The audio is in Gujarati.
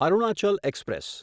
અરુણાચલ એક્સપ્રેસ